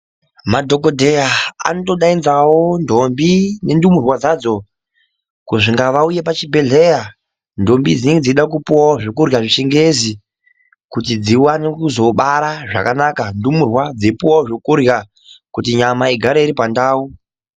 Madhokoteya anotodaidzawo ndombi nendumurwa dzadzo kuti ngaauye pazvibhedhlera ndombi dzinenge dzeitode kupiwawo zvekurya zvechingezi kuti dziwane kuzobara zvakanaka ndumurwa dzeipuwawo zvekurya kuti nyama igare iri pandau.